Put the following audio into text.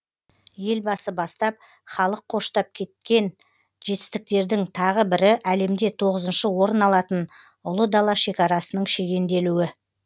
елбасы бастап халық қоштап жеткен жетістіктердің тағы бірі әлемде тоғызыншы орын алатын ұлы дала шекарасының шегенделуі